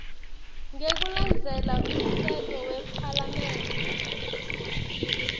ngekulandzela umtsetfo wephalamende